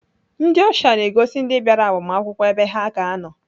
Ndị ọsha na-egosi ndị bịara agbamakwụkwọ ebe ha ga-anọ.